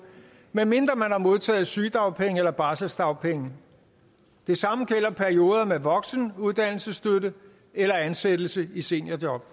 medmindre man har modtaget sygedagpenge og barselsdagpenge det samme gælder perioder med voksenuddannelsesstøtte eller ansættelse i seniorjob